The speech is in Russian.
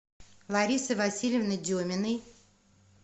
ларисы васильевны деминой